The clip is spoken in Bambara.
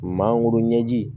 Mangoro ɲɛji